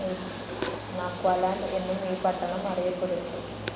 നാക്വാലണ്ട് എന്നും ഈ പട്ടണം അറിയപ്പെടുന്നു.